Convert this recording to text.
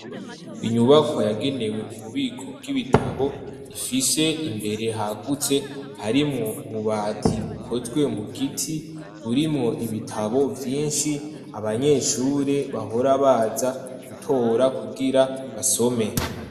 inyubakwa yagenewe ububiko bw'ibitabo, ifise imbere hagutse, harimwo ububati bukozwe mu giti, burimwo ibitabo vyinshi, abanyeshure bahora baza gutora kugira basome.